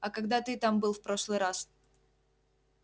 а когда ты там был в прошлый раз